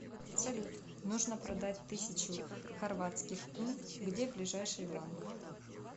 салют нужно продать тысячу хорватских кун где ближайший банк